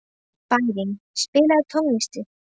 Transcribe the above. Bæring, spilaðu tónlist.